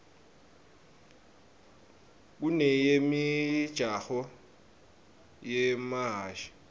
kuneyemijaho yemahhashi